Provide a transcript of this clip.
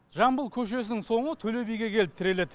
жамбыл көшесінің соңы төлебиге келіп тіреледі